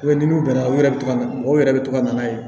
n'u bɛnna u yɛrɛ bɛ to ka na u yɛrɛ bɛ to ka na ye